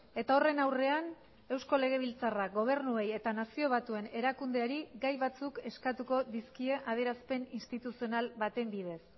eta horren aurrean eusko legebiltzarrak gobernuei eta nazio batuen erakundeari gai batzuk eskatuko dizkie adierazpen instituzional baten bidez